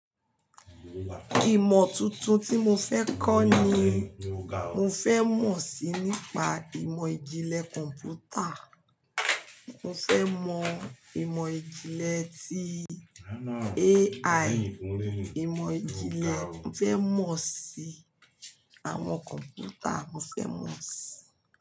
Ìmọ̀ tuntun tí mo fẹ́ kọ́ ni mo fẹ́ mọ̀ síi nípa ìmọ̀ ìjìnlẹ̀ kọ̀m̀pútà. Mo fẹ́ mọ ìmọ̀ ìjìnlẹ̀ tí AI, ìmọ̀ ìjìnlẹ̀ mo fẹ́ mọ̀ síi àwọn kọ̀m̀pútà mo fẹ́ mọ̀ síi.